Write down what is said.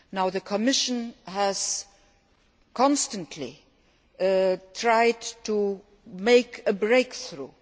The Commission has constantly tried to make a breakthrough.